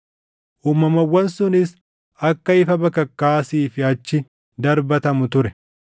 Uumamawwan sunis akka ifa bakakkaa asii fi achi darbatamu ture.